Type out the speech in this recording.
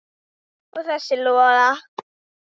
Og þessa Lola.